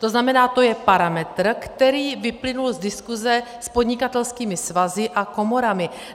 To znamená, to je parametr, který vyplynul z diskuse s podnikatelskými svazy a komorami.